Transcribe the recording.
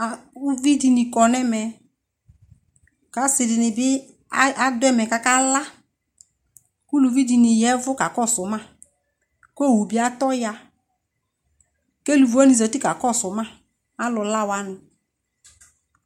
A! Uvi dɩnɩ kɔ nʋ ɛmɛ kʋ asɩ dɩnɩ bɩ ay adʋ ɛmɛ kʋ akala kʋ uluvi dɩnɩ ya ɛvʋ kakɔsʋ ma kʋ owu bɩ atɔ ya kʋ eluvi wznɩ zati kakɔsʋ ma, alʋla wanɩ